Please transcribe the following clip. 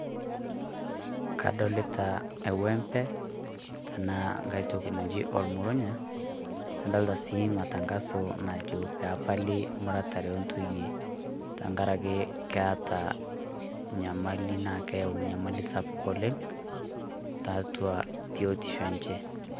Kadolita e wembe tenaa nkay toki naji olmurunya nadolita sii matangaso najo peepali muratare oontoyie tenkaraki keeta nyamali naa keyau nyamali sapuk oleng tiatua biotisho enche.